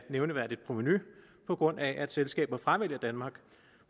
nævneværdigt provenu på grund af at selskaber fravælger danmark